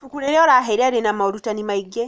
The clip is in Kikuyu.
Ibuku rĩrĩa ũraheire rĩna morutani maingĩ